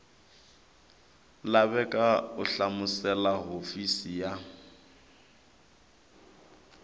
laveka u hlamusela hofisi ya